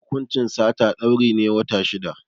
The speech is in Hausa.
Hukuncin sata, dauri ne na wata shida.